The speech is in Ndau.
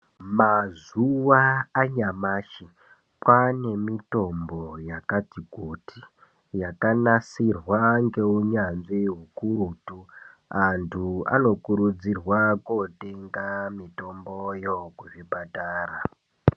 Mazuva anyamashi kwane mitombo yakati kuti yakanasirwa ngeunyanzvi hukurutu. Antu anokurudzirwa kotenga mitomboyo kuzvipatara.